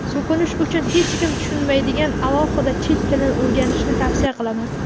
So‘kinish uchun hech kim tushunmaydigan alohida chet tilini o‘rganishni tavsiya qilaman.